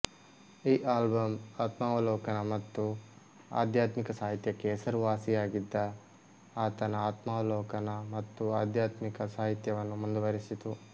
ಈ ಆಲ್ಬಂ ಆತ್ಮಾವಲೋಕನ ಮತ್ತು ಆಧ್ಯಾತ್ಮಿಕ ಸಾಹಿತ್ಯಕ್ಕೆ ಹೆಸರುವಾಸಿಯಾಗಿದ್ದ ಆತನ ಆತ್ಮಾವಲೋಕನ ಮತ್ತು ಆಧ್ಯಾತ್ಮಿಕ ಸಾಹಿತ್ಯವನ್ನು ಮುಂದುವರೆಸಿತು